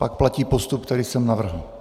Pak platí postup, který jsem navrhl.